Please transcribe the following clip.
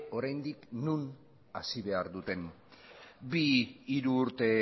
oraindik non hasi behar duten bi hiru urte